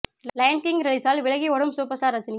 line King ரிலீஸால் விலகி ஓடும் சூப்பர் ஸ்டார் ரஜினி